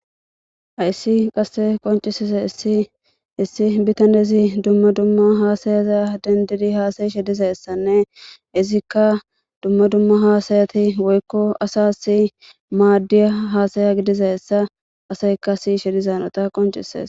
Ayssi qasse qoncisisa issi issi bitanezi dumma dumma haasayaza dendidi haasayi shidizayessanne izikka dumma dumma haasayati woykko asa s maaddiya haasaya gidizayessa aseykasi shidizanota qoncisees.